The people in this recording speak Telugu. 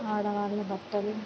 ఆడవాళ్ళ బట్టలు--